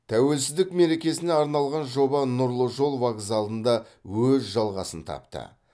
тәуелсіздік мерекесіне арналған жоба нұрлы жол вокзалында өз жалғасын тапты